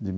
de.